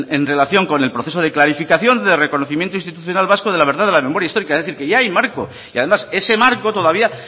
en relación con el proceso de clarificación de reconocimiento institucional vasco de la verdad de la memoria histórica es decir que ya hay marco y además ese marco todavía